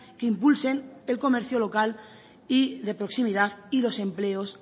que impulsen el comercio local y de proximidad y los empleos